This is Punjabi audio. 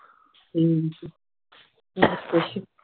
ਹਮ ਹੋਰ ਕੁਸ਼